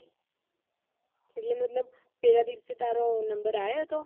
એટલે મતલબ પેલા દિવસે તારો number આયો હતો